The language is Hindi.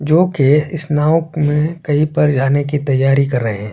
जोओ के इस नाव में कहीं पे जाने की तैयारी कर रहै है।